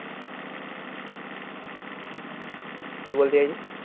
কি বলতে চাইছিস?